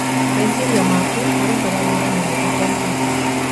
Meciria maku marutaga wĩra mũno ta Kompyuta.